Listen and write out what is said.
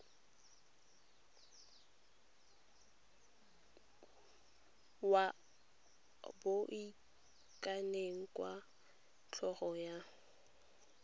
wa boitekanelo jwa tlhogo wa